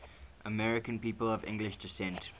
american people of english descent